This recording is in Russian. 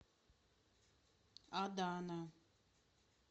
адана